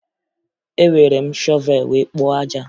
Ewere m shọvee wee kpoo aja